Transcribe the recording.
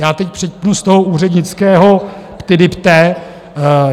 Já teď přepnu z toho úřednického ptydepe.